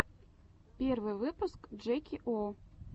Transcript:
первый выпуск джеки о